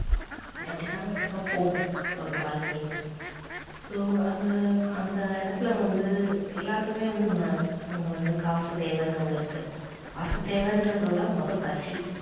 அப்படித்தான் இப்படித்தான் போகும் ஒரு வாழ்க்கை என்பது அந்த இடத்துல வந்து எல்லாத்துக்குமே வந்து அங்க காசு தேவைனு ஒன்னு இருக்கு காசு தேவைறதோட மொத பசி